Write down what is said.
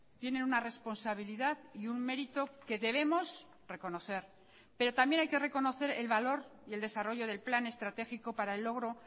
tienen una responsabilidad y un mérito que debemos reconocer pero también hay que reconocer el valor y el desarrollo del plan estratégico para el logro